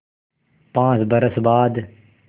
पाँच बरस बाद